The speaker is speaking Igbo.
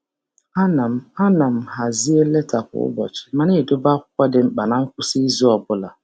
A na m hazie leta kwa ụbọchị ma na-edobe akwụkwọ dị mkpa na ngwụsị izu ọ bụla